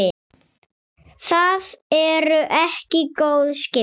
Það eru ekki góð skipti.